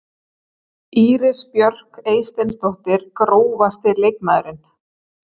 Íris Björk Eysteinsdóttir Grófasti leikmaðurinn?